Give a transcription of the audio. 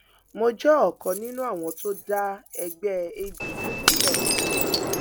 mo jẹ ọkan nínú àwọn tó dá ẹgbẹ adc sílẹ